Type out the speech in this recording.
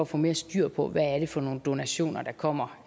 få mere styr på hvad det er for nogle donationer der kommer